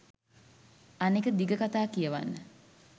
අනෙක දිග කතා කියවන්න